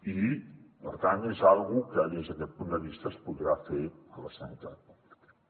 i per tant és una cosa que des d’aquest punt de vista es podrà fer a la sanitat pública